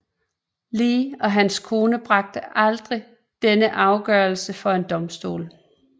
Lee og hans kone bragte aldrig denne afgørelse for en domstol